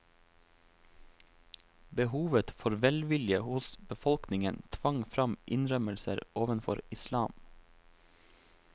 Behovet for velvilje hos befolkningen tvang fram innrømmelser overfor islam.